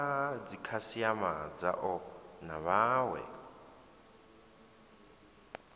na dzikhasiama dzao na vhawe